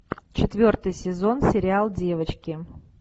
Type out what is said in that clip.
четвертый сезон сериал девочки